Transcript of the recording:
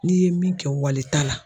N'i ye min kɛ wali ta la